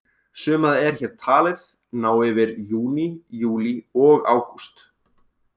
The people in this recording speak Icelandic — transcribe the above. Sumarið er hér talið ná yfir júní, júlí og ágúst.